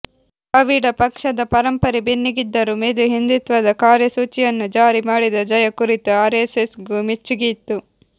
ದ್ರಾವಿಡ ಪಕ್ಷದ ಪರಂಪರೆ ಬೆನ್ನಿಗಿದ್ದರೂ ಮೆದು ಹಿಂದುತ್ವದ ಕಾರ್ಯಸೂಚಿಯನ್ನು ಜಾರಿ ಮಾಡಿದ ಜಯಾ ಕುರಿತು ಆರ್ಎಸ್ಎಸ್ಗೂ ಮೆಚ್ಚುಗೆಯಿತ್ತು